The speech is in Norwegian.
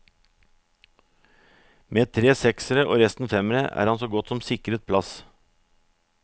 Med tre seksere og resten femmere, er han så godt som sikret plass.